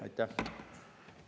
Aitäh!